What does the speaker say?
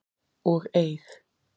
og eig.